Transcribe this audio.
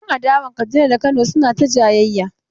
Yan adawan Kaduna da na Kano suna ta jayayya.